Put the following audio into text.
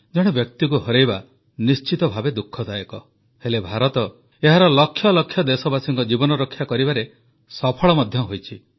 ଜଣେ ବ୍ୟକ୍ତିକୁ ହରାଇବା ନିଶ୍ଚିତ ଭାବେ ଦୁଃଖଦାୟକ ହେଲେ ଭାରତ ଏହାର ଲକ୍ଷ ଲକ୍ଷ ଦେଶବାସୀଙ୍କ ଜୀବନରକ୍ଷା କରିବାରେ ସଫଳ ମଧ୍ୟ ହୋଇଛି